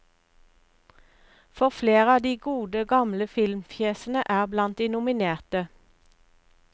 For flere av de gode, gamle filmfjesene er blant de nominerte.